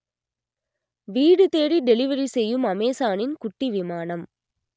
வீடு தேடி டெலிவரி செய்யும் அமேசானின் குட்டி விமானம்